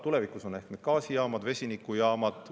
Tulevikus on need ehk gaasijaamad või vesinikujaamad.